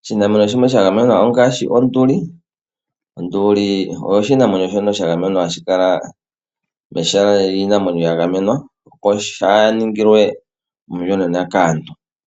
Oshinamwenyo shimwe shagamenwa ongashi onduli. Onduli oyo oshinamwenyo sha gamenwa hashi kala mehala lyiinamwenyo yagamenwa opo kaashi ningilwe omiyonena kaantu.